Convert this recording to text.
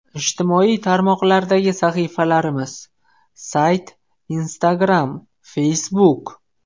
Ijtimoiy tarmoqlardagi sahifalarimiz: Sayt Instagram Facebook !